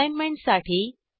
असाईनमेंटसाठी